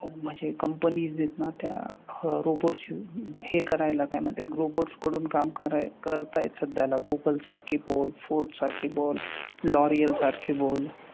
म्हणजे companies आहेत ना त्या robots च्या हे करायला काय म्हणतात robots कडून काम कराय करतायत सध्याला गूगल सारखी बोल, फोर्ब्स सारखी बोल, लॉरियल सारखी बोल.